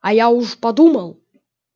а я уж подумал